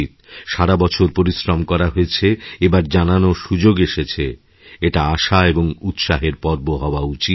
সারাবছর পরিশ্রম করা হয়েছে এবার জানানোর সুযোগ এসেছে এটা আশা এবং উৎসাহের পর্ব হওয়াউচিত